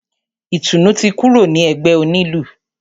Ìtùnú ti kúrò ní ẹgbẹ́ onílù.